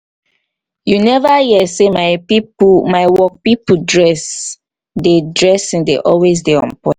you neva hear sey my pipo my work pipo dress dey dressing dey always dey on-point.